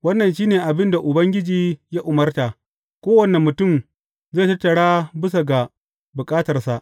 Wannan shi ne abin da Ubangiji ya umarta, Kowane mutum zai tattara bisa ga bukatarsa.